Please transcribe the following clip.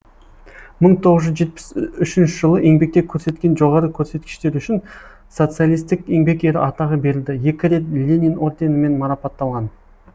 мың тоғыз жүз жетпіс үшінші жылы еңбекте көрсеткен жоғары көрсеткіштері үшін социалистік еңбек ері атағы берілді екі рет ленин орденімен марапатталған